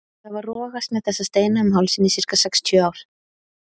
Þau hafa rogast með þessa steina um hálsinn í sirka sextíu ár.